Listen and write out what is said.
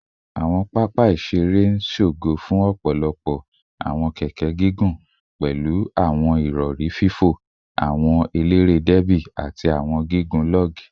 Awọn papa iṣere iṣere n ṣogo fun ọpọlọpọ awọn keke gigun, pẹlu awọn irọri fo, awọn elere derby, ati awọn gigun log